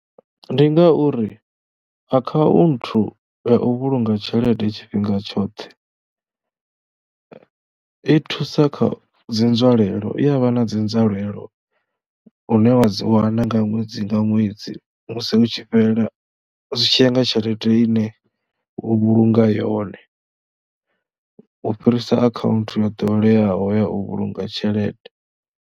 Ndi ngauri akhaunthu ya u vhulunga tshelede tshifhinga tshoṱhe i thusa kha dzi nzwalelo, i ya vha na dzi nzwalelo hune wa wana nga ṅwedzi nga ṅwedzi musi hu tshi fhela, zwi tshi nga tshelede ine u vhulunga yone u fhirisa akhaunthu yo ḓoweleaho ya u vhulunga tshelede.